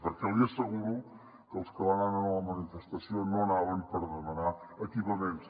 perquè li asseguro que els que van anar a la manifestació no anaven per demanar equipaments